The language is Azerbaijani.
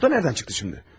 Bu da haradan çıxdı indi?